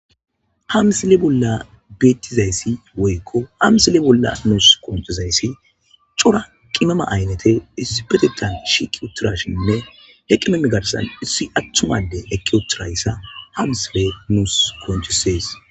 Hamsile bolla beettizayssi woykko hamsile bolla nuus konchizayssi cora qimama aynete isipetetan shiqi utirashinne heqqimemigarsan issi attumade eki othirayssa hamsle nuus koncisees